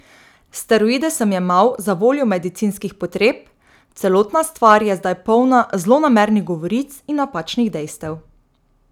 Steroide sem jemal zavoljo medicinskih potreb, celotna stvar je zdaj polna zlonamernih govoric in napačnih dejstev.